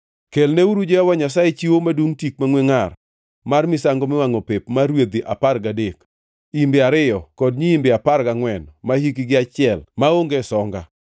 Kelnauru Jehova Nyasaye chiwo madungʼ tik mangʼwe ngʼar mar misango miwangʼo pep mar rwedhi apar gadek, imbe ariyo kod nyiimbe apar gangʼwen mahikgi achiel, maonge songa.